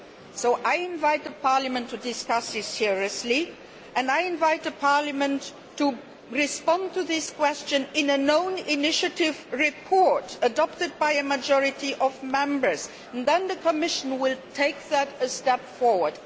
So I invite Parliament to discuss this seriously and I invite Parliament to respond to this question in an own initiative report adopted by a majority of Members. Then the Commission will take that a step forward.